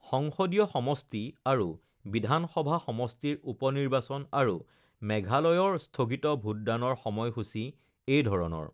সংসদীয় সমষ্টি আৰু বিধান সভা সমষ্টিৰ উপ নিৰ্বাচন আৰু মেঘালয়ৰ স্থগিত ভোটদানৰ সময়সূচী এইধৰণৰ